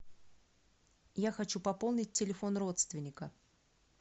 я хочу пополнить телефон родственника